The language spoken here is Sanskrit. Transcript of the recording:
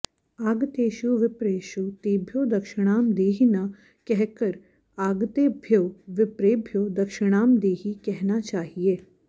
आगतेषु विप्रेषु तेभ्यो दक्षिणां देहि न कहकर आगतेभ्यो विप्रेभ्यो दक्षिणाम् देहि कहना चाहिए